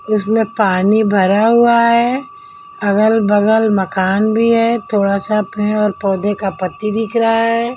उसमें पानी भरा हुआ है अगल-बगल मकान भी है थोड़ा सा पेड़ और पौधे का पत्ती दिख रहा है।